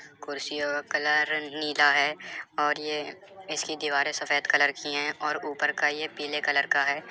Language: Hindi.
कुर्सीयो का कलर नीला हैं और यह इसकी दीवारे सफेद कलर कि है और ऊपर का यह पीले कलर का है।